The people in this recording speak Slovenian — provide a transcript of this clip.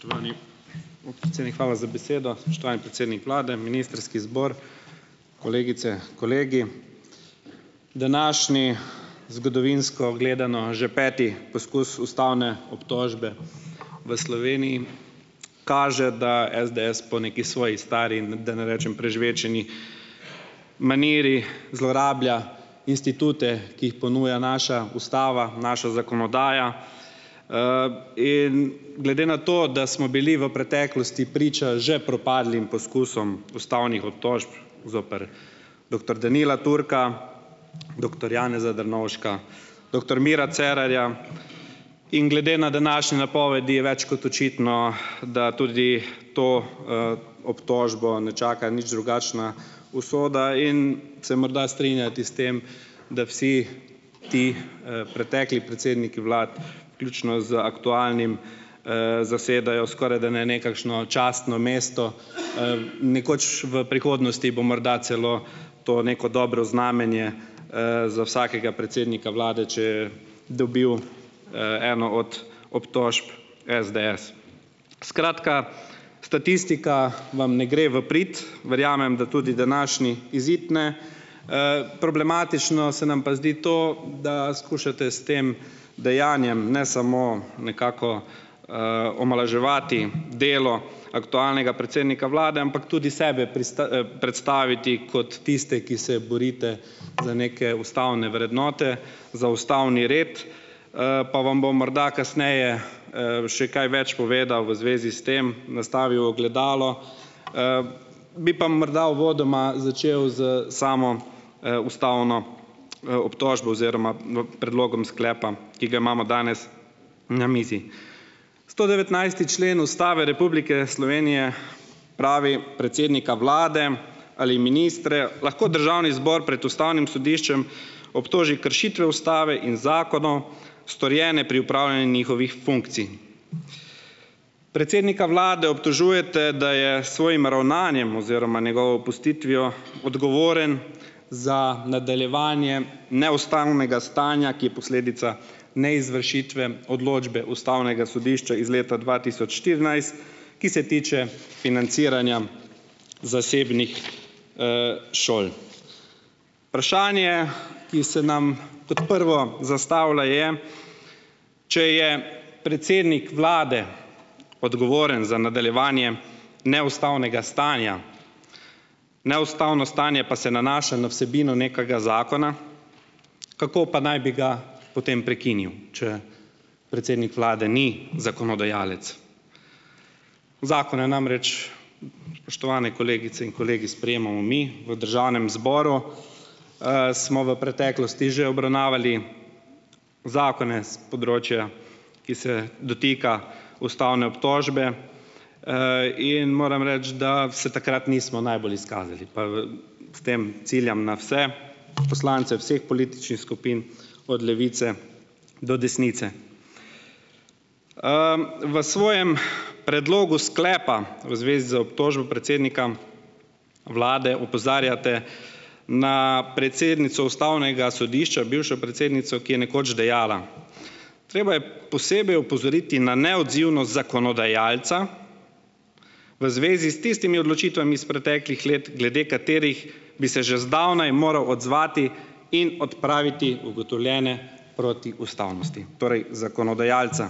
Spoštovani podpredsednik, hvala za besedo. Spoštovani predsednik vlade, ministrski zbor, kolegice, kolegi! Današnji, zgodovinsko gledano, že peti poskus ustavne obtožbe v Sloveniji kaže, da SDs po neki svoji stari, da ne rečem prežvečeni maniri zlorablja institute, ki jih ponuja naša ustava, naša zakonodaja. In glede na to, da smo bili v preteklosti priča že propadlim poskusom ustavnih obtožb zoper doktor Danila Türka, doktor Janeza Drnovška, doktor Mira Cerarja in glede na današnje napovedi je več kot očitno, da tudi to, obtožbo ne čaka nič drugačna usoda in saj morda strinjati s tem, da vsi ti, pretekli predsedniki vlad, vključno z aktualnim, zasedajo skorajda ne nekakšno častno mesto, nekoč v prihodnosti bo morda celo to neko dobro znamenje, za vsakega predsednika vlade, če je dobil, eno od obtožb SDS. Skratka, statistika vam ne gre v prid. Verjamem, da tudi današnji izid ne. Problematično se nam pa zdi to, da skušate s tem dejanjem, ne samo nekako, omalovaževati delo aktualnega predsednika vlade, ampak tudi sebe predstaviti kot tiste, ki se borite za neke ustavne vrednote, za ustavni red. Pa vam bom morda kasneje, še kaj več povedal v zvezi s tem, nastavil ogledalo. Bi pa morda uvodoma začel s samo, ustavno, obtožbo oziroma v predlogom sklepa, ki ga imamo danes na mizi. Sto devetnajsti člen Ustave Republike Slovenije pravi: "Predsednika vlade ali ministre lahko državni zbor pred ustavnim sodiščem obtoži kršitve ustave in zakonov, storjene pri upravljanju njihovih funkcij." Predsednika vlade obtožujete, da je s svojim ravnanjem oziroma njegovo opustitvijo odgovoren za nadaljevanje neustavnega stanja, ki je posledica neizvršitve odločbe ustavnega sodišča iz leta dva tisoč štirinajst, ki se tiče financiranja zasebnih, šol. Vprašanje, ki se nam kot prvo zastavlja, je, če je predsednik vlade odgovoren za nadaljevanje neustavnega stanja, neustavno stanje pa se nanaša na vsebino nekega zakona, kako pa naj bi ga potem prekinil, če predsednik vlade ni zakonodajalec. Zakone namreč, spoštovani kolegice in kolegi, sprejemamo mi v državnem zboru. Smo v preteklosti že obravnavali zakone s področja, ki se dotika ustavne obtožbe. In moram reči, da se takrat nismo najbolj izkazali, pa v s tem ciljam na vse poslance vseh političnih skupin od levice do desnice. V svojem predlogu sklepa v zvezi z obtožbo predsednika vlade opozarjate na predsednico ustavnega sodišča, bivšo predsednico, ki je nekoč dejala: "Treba je posebej opozoriti na neodzivnost zakonodajalca v zvezi s tistimi odločitvami izs preteklih let, glede katerih bi se že zdavnaj moral odzvati in odpraviti ugotovljene protiustavnosti." Torej zakonodajalca.